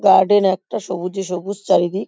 Garden একটা সবুজে সবুজ চারিদিক।